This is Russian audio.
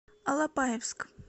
алапаевск